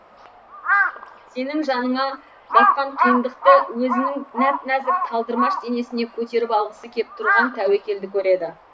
сенің жаныңа батқан қиындықты өзінің нәп нәзік талдырмаш денесіне көтеріп алғысы кеп тұрған тәуекелді көреді